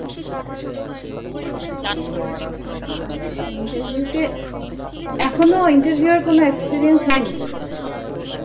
আচ্ছা interview তে এখনো interview এর কোনো experience হয় নি